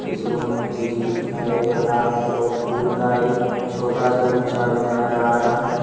इस रूम में फ्रिज भी दिखाई दे रहा है और फूल का एक छोटा सा गुच्छा भी नजर आ रहा है।